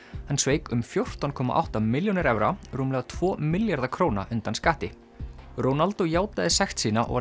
hann sveik um fjórtán komma átta milljónir evra rúmlega tvo milljarða króna undan skatti Ronaldo játaði sekt sína og